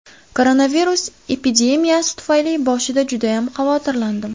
Koronavirus epidemiyasi tufayli boshida judayam xavotirlandim.